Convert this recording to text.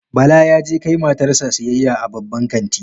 Bala ya je kai matar sa siyayya a Babban kanti